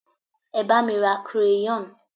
e ba mi ra crayon